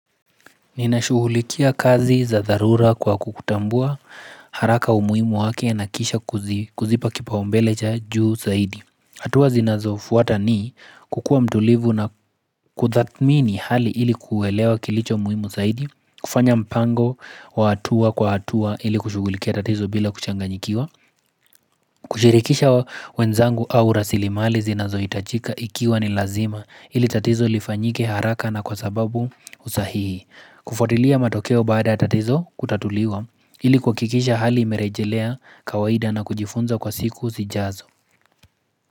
Ninashughulikia kazi za dharura kwa kukutambua haraka umuhimu wake na kisha kuzipa kipaumbele cha juu zaidi hatua zinazofuata ni kukua mtulivu na kudhamini hali ili kuelewa kilicho umuhimu zaidi kufanya mpango wa hatua kwa hatua ili kushughulikia tatizo bila kuchanganyikiwa kushirikisha wenzangu au rasilimali zinazohitajika ikiwa ni lazima ili tatizo lifanyike haraka na kwa sababu usahihi kufuatilia matokeo baada tatizo kutatuliwa ili kuhakikisha hali imerejelea kawaida na kujifunza kwa siku zijazo.